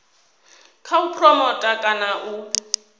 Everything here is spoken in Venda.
kha u phuromotha kana u